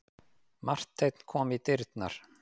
Marteinn kom í dyrnar.